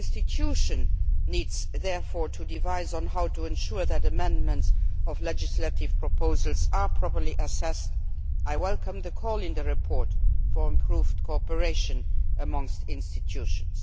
Each institution therefore needs to think about how to ensure that amendments to legislative proposals are properly assessed. I welcome the call in the report for improved cooperation among the institutions.